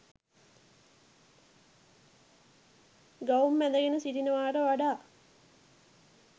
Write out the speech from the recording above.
ගවුම් ඇඳගෙන සිටිනවාට වඩා